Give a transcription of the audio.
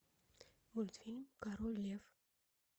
мультфильм король лев